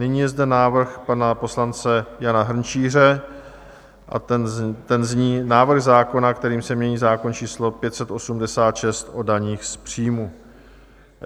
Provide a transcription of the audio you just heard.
Nyní je zde návrh pana poslance Jana Hrnčíře a ten zní Návrh zákona, kterým se mění zákon č. 586 o daních z příjmů.